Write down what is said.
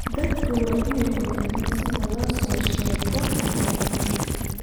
Dadku waa inay ogaadaan sida loo soo sheego khiyaamada.